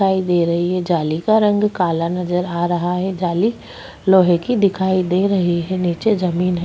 दिखाई दे रही है जाली का रंग काला नज़र आ रहा है जाली लोहे की दिखाई दे रही है नीचे जमीन है।